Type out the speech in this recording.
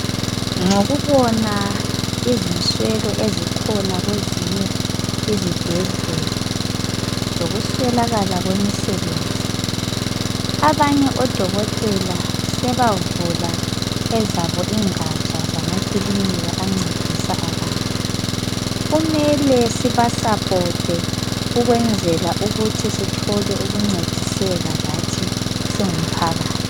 Ngokubona izinswelo ezikhona kwezinye izibhedlela lokuswelakala kwemisebenzi abanye odokotela sebavula ezabo ingatsha zamakilinika ancedisa abantu. Kumele sibasupporte ukwenzela ukuthi sithole ukuncediseka lathi singumphakathi.